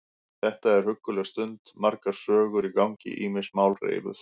Þetta er hugguleg stund, margar sögur í gangi, ýmis mál reifuð.